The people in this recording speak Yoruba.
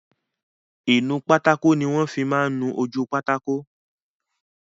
Ìnu pátákó ni wọ́n máa n fí nu ojú pátákó